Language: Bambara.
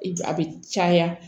A bɛ caya